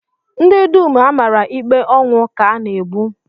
Ndị dum a mara ikpe ọnwụ, ka a na-egbu